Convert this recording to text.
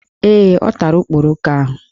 Ee, ọ tara okporoko ahụ